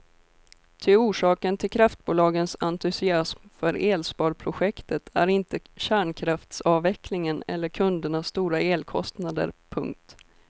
Ty orsaken till kraftbolagens entusiasm för elsparprojektet är inte kärnkraftsavveckling eller kundernas stora elkostnader. punkt